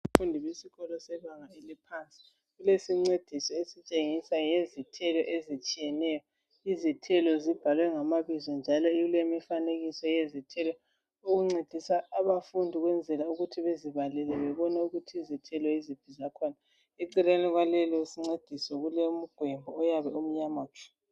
Abafundi besikolo sebanga eliphansi kulesincediso esitshengisa ngezithelo ezitshiyeneyo izithelo zibhaliwe ngamabizo njalo kulemifanekiso yezithelo okuncedisa abafundi ukwenzela ukuthi bazibalele babone ukuthi izithelo yiziphi zakhona .Eceleni kwaleso sincediso kulomgwembo oyabe umnyama tshu.